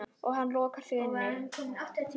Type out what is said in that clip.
Og hann lokar sig inni.